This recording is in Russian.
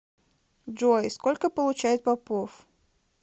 джой сколько получает попов